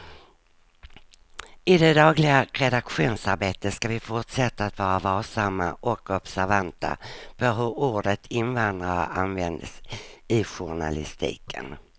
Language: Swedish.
I det dagliga redaktionsarbetet ska vi fortsätta att vara varsamma och observanta på hur ordet invandrare används i journalistiken.